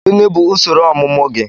Gịnị bụ usoro ọmụmụ gị?